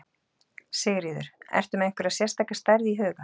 Sigríður: Ertu með einhverja sérstaka stærð í huga?